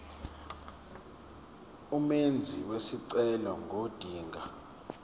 umenzi wesicelo ngodinga